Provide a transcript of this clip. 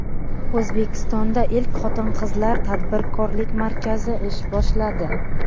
O‘zbekistonda ilk Xotin-qizlar tadbirkorlik markazi ish boshladi .